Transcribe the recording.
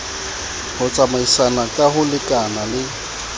ho tsamaisana ka ho lekanale